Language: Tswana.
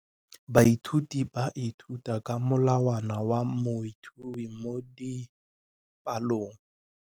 Baithuti ba ithuta ka molawana wa motheo mo dipalong.